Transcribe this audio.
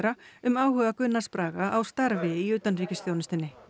um áhuga Gunnars Braga á starfi í utanríkisþjónustunni